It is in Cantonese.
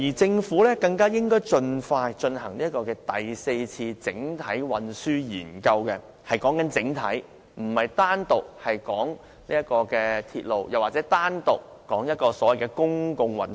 政府更應盡快進行第四次整體運輸研究，我是指"整體"，而不是單說鐵路或所謂的公共運輸。